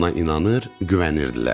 Ona inanır, güvənirdilər.